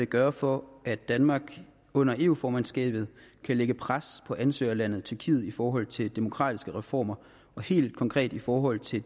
gøre for at danmark under eu formandskabet kan lægge pres på ansøgerlandet tyrkiet i forhold til demokratiske reformer og helt konkret i forhold til at